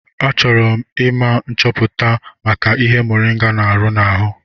Achọrọ m ime nchọpụta maka ihe moringa n'arụ n'ahụ.